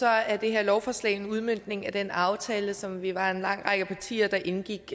er det her lovforslag en udmøntning af den aftale som vi var en lang række partier der indgik